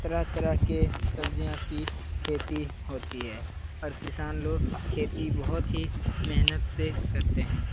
तरह-तरह के सब्जियाँ की खेती होती है और किसान लोग खेती बहुत ही मेहनत से करते है।